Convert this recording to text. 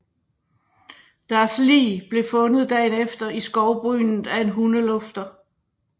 Deres lig blev fundet dagen efter i skovbrynet af en hundelufter